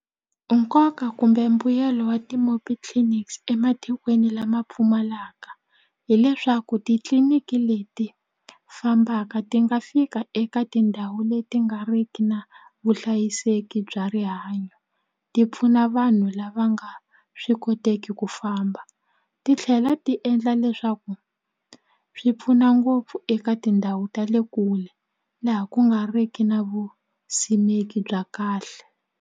Nkoka kumbe mbuyelo wa clinics ematikweni lama pfumalaka hileswaku titliliniki leti fambaka ti nga fika eka tindhawu leti nga riki na vuhlayiseki bya rihanyo ti pfuna vanhu lava nga swi koteki ku famba ti tlhela ti endla leswaku swi pfuna ngopfu eka tindhawu ta le kule laha ku nga ri ki na vusimeki bya kahle.